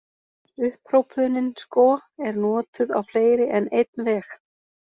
Upphrópunin sko er notuð á fleiri en einn veg.